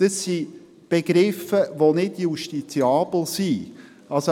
Dies sind Begriffe, die nicht justiziabel sind.